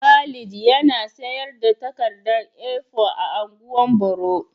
Khalil yana sayar da takarda A4 a ungwan boro.